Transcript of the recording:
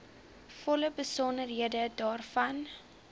volle besonderhede daarvan